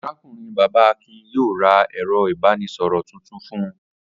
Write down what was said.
Arákùnrin-bàbá Akin yóò ra ẹ̀rọ-ìbánisọ̀rọ̀ tuntun fún un.